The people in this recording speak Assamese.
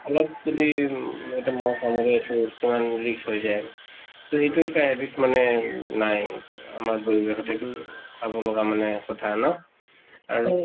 অলপ যদি এটা মহ কামুৰে এইতো কিমান risk হৈ যায় । তʼ এইটো এটা habit মানে উম নাই, আমাৰ পৰিৱেশত । এইটো চাব লগা কথা মানে ন ? আৰু